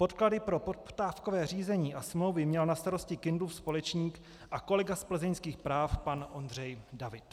Podklady pro poptávkové řízení a smlouvy měl na starosti Kindlův společník a kolega z plzeňských práv pan Ondřej David.